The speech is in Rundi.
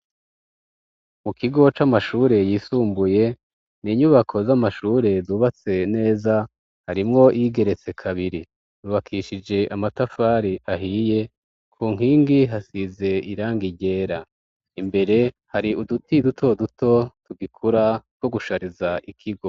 Mu kigo c'amashure yisumbuye n'inyubako z'amashure zubatse neza harimwo iyigeretse kabiri ryubakishije amatafari ahiye ku nkingi hasize irangi ryera imbere hari uduti dutoduto tugikura twogushariza ikigo.